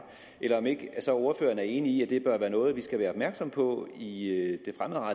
er ordføreren ikke enig i at det bør være noget vi skal være opmærksomme på i